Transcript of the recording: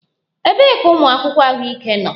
Ebee ka ụmụ akwụkwọ ahụike nọ?